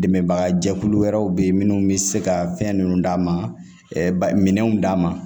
Dɛmɛbaga jɛkulu wɛrɛw bɛ yen minnu bɛ se ka fɛn ninnu d'a ma minɛnw d'a ma